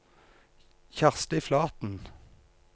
Kjersti Flaten